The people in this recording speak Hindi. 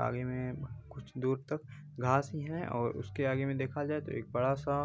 आगे में कुछ दूर तक घास ही हैं और उसके आगे में देखा जाये तो एक बड़ा सा